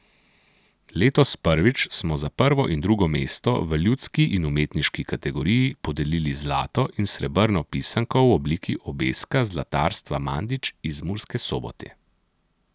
Letos prvič smo za prvo in drugo mesto v ljudski in umetniški kategoriji podelili zlato in srebrno pisanko v obliki obeska Zlatarstva Mandič iz Murske Sobote.